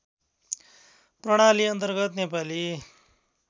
प्रणाली अन्तर्गत नेपाली